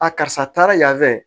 A karisa taara yan fɛ